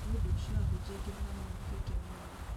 nĩũndũ ũcio ahunjia aingĩ nĩmamenyekete mũno